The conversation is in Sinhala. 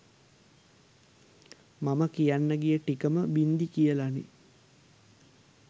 මම කියන්න ගිය ටිකම බින්දි කියලනේ